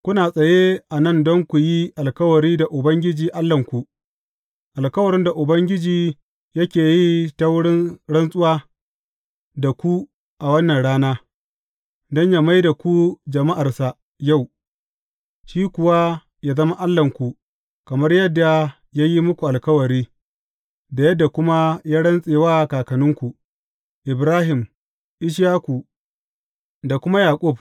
Kuna tsaye a nan don ku yi alkawari da Ubangiji Allahnku, alkawarin da Ubangiji yake yi ta wurin rantsuwa da ku a wannan rana, don yă mai da ku jama’arsa yau, shi kuwa yă zama Allahnku kamar yadda ya yi muku alkawari, da yadda kuma ya rantse wa kakanninku, Ibrahim, Ishaku da kuma Yaƙub.